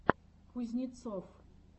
кузнецов